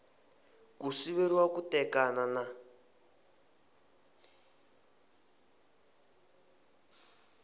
ku siveriwa ku tekana na